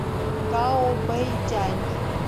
гаобэйдянь